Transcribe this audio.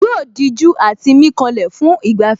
Yóò dijú àti mí kanlẹ̀ fún ìgbafẹ́